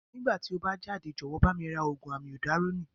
Nígbà tí o bá jáde, jọ̀wọ́ bá mi ra Ògùn Amiodarọ́nìì.